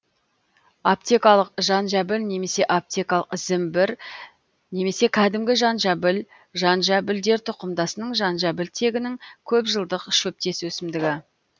аптекалық жанжабіл немесе апетекалық зімбір немесе кәдімгі жанжабіл жанжабілдер тұқымдасының жанжабіл тегінің көпжылдық шөптес өсімдігі